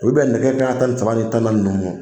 O bi bɛn nɛgɛ kanɲɛ tan ni saba ni tan ni naani nunnu de ma.